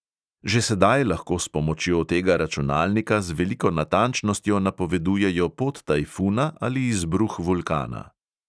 Že sedaj lahko s pomočjo tega računalnika z veliko natančnostjo napovedujejo pot tajfuna ali izbruh vulkana.